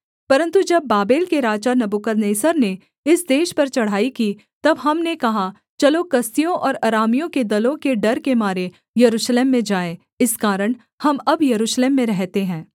परन्तु जब बाबेल के राजा नबूकदनेस्सर ने इस देश पर चढ़ाई की तब हमने कहा चलो कसदियों और अरामियों के दलों के डर के मारे यरूशलेम में जाएँ इस कारण हम अब यरूशलेम में रहते हैं